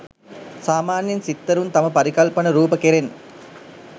සාමාන්‍යයෙන් සිත්තරුන් තම පරිකල්පනරූප කෙරෙන්